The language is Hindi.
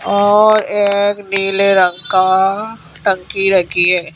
और एक नीले रंग का टंकी रखी है।